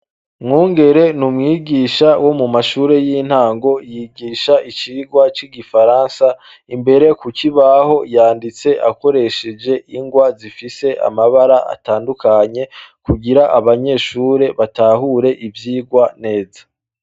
Mwungere ni umwigisha wo mu mashure y'intango yigisha icirwa c'igifaransa imbere ku ko ibaho yanditse akoresheje ingwa zifise amabara atandukanye kugira abanyeshure batahure ivyirwa neza.